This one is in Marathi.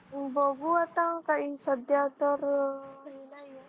बघू आता काही सध्या तर काही नाही आहे.